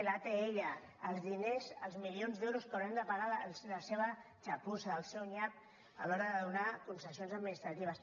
l’atll els diners els milions d’euros que haurem de pagar de la seva xa·pussa del seu nyap a l’hora de donar concessions ad·ministratives